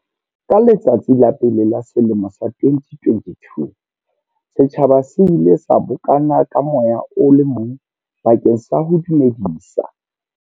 Ka letsatsi la pele la selemo sa 2022, setjhaba se ile sa bokana ka moya o le mong bakeng sa ho dumedisa.